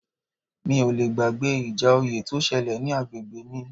Mi ò le gbàgbé ìjà oyè tó ṣẹlẹ̀ ní agbègbè mi